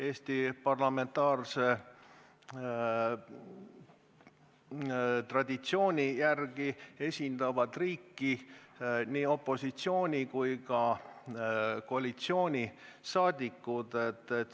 Eesti parlamentaarse traditsiooni järgi esindavad riiki nii opositsiooni- kui ka koalitsiooniliikmed.